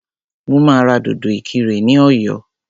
Mo máa ra dòdò ìkirè ní ọ̀yọ́